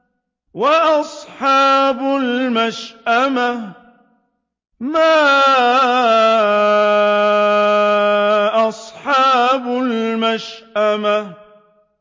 وَأَصْحَابُ الْمَشْأَمَةِ مَا أَصْحَابُ الْمَشْأَمَةِ